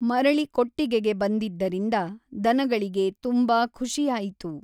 ಮರಳಿ ಕೊಟ್ಟಿಗೆಗೆ ಬಂದಿದ್ದರಿಂದ ದನಗಳಿಗೆ ತುಂಬಾ ಖುಷಿಯಾಯಿತು.